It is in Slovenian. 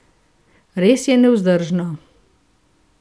Res je nevzdržno.